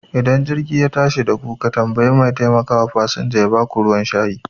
Ida jirgi ya tashi daku ka tambayi mai taimakawa fasanja yaba ka ruwan shayi